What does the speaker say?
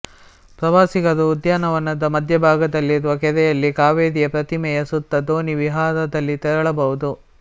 ಪ್ರವಾಸಿಗರು ಉದ್ಯಾನವನದ ಮಧ್ಯಭಾಗದಲ್ಲಿರುವ ಕೆರೆಯಲ್ಲಿ ಕಾವೇರಿಯ ಪ್ರತಿಮೆಯ ಸುತ್ತ ದೋಣಿ ವಿಹಾರದಲ್ಲಿ ತೆರಳಬಹುದು